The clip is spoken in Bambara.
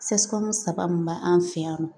saba mun b'an fɛ yan nɔ